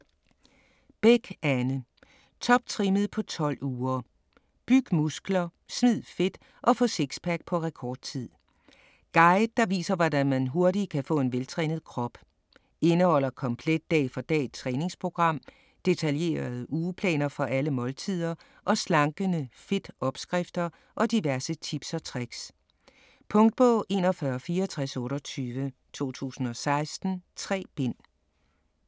Bech, Anne: Toptrimmet på 12 uger: byg muskler, smid fedt og få sixpack på rekordtid Guide der viser hvordan man hurtigt kan få en veltrænet krop. Indeholder komplet dag for dag-træningsprogram, detaljerede ugeplaner for alle måltider og slankende FIT-opskrifter og diverse tips og tricks. Punktbog 416428 2016. 3 bind.